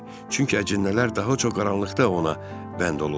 Çünki əcinnələr daha çox qaranlıqda ona bənd olurlar.